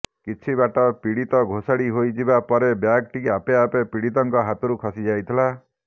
କିଛି ବାଟ ପୀଡ଼ିତ ଘୋଷାଡ଼ି ହୋଇଯିବା ପରେ ବ୍ୟାଗଟି ଆପେ ଆପେ ପୀଡ଼ିତଙ୍କ ହାତରୁ ଖସି ଯାଇଥିଲା